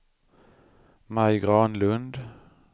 Maj Granlund